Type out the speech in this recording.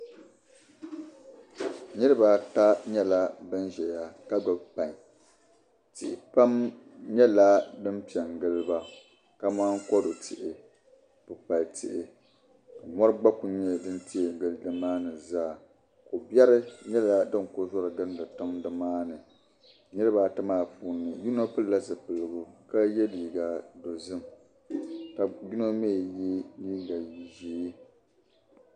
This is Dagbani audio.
Niribi ata nyela. banzɛya ka gbubi kpaŋ tihi. pam. nyala din pɛn giliba kaman kodu tihi. kpukpali. tihi vari gba ku nyala din tee gili nimaani zaa. kɔberi nyɛla din ku zɔri gindi tiŋ dimaani niribi ata maa puuni yinɔ pilila zupiligu kaye liiga dɔzim ka yinɔ mi ye liiga zɛɛ